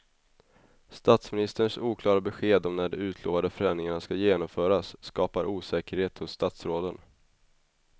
Statsministerns oklara besked om när de utlovade förändringarna ska genomföras skapar osäkerhet hos statsråden.